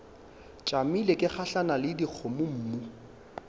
tšamile ke gahlana le dikgomommuu